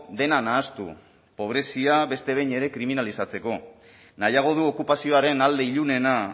dena nahastu pobrezia beste behin ere kriminalizatzeko nahiago du okupazioaren alde ilunena